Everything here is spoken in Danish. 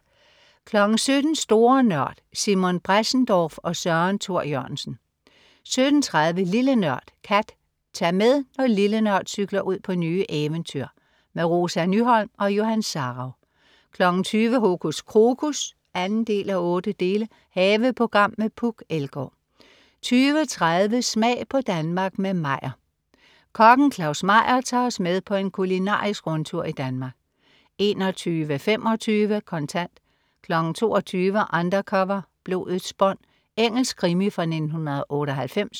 17.00 Store Nørd. Simon Bressendorf og Søren Thor Jørgensen 17.30 Lille Nørd. Kat. Tag med, når "Lille Nørd" cykler ud på nye eventyr. Rosa Nyholm og Johan Sarauw 20.00 Hokus Krokus 2:8. Haveprogram med Puk Elgård 20.30 Smag på Danmark med Meyer. Kokken Claus Meyer tager os med på en kulinarisk rundtur i Danmark 21.25 Kontant 22.00 Undercover: Blodets bånd. Engelsk krimi fra 1998